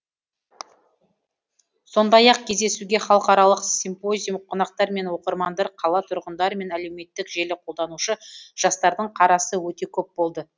сондай ақ кездесуге халықаралық симпозиум қонақтар мен оқырмандар қала тұрғындары мен әлеуметтік желі қолданушы жастардың қарасы өте көп болды